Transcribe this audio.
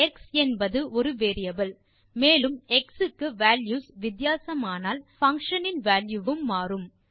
X என்பது ஒரு variable மேலும் எக்ஸ் க்கு வால்யூஸ் வித்தியாசமானால் பங்ஷன் இன் வால்யூ வும் மாறும்